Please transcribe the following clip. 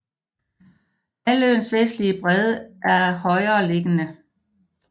Halvøens vestlige bred er er højereliggende